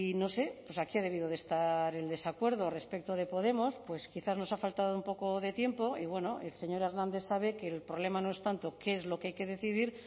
no sé pues aquí ha debido de estar el desacuerdo respecto de podemos pues quizás nos ha faltado un poco de tiempo y bueno el señor hernández sabe que el problema no es tanto qué es lo que hay que decidir